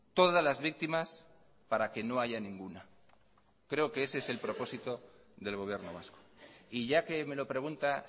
todas las víctimas para que no haya ninguna creo que ese es el propósito del gobierno vasco y ya que me lo pregunta